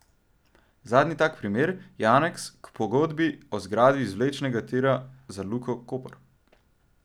Zadnji tak primer je aneks k pogodbi o zgraditvi izvlečnega tira za Luko Koper.